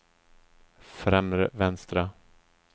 främre vänstra